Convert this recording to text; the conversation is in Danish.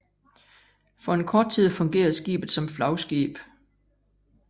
For en kort tid fungerede skibet som flagskib